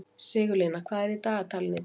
Sigurlína, hvað er í dagatalinu í dag?